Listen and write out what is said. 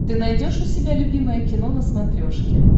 ты найдешь у себя любимое кино на смотрешке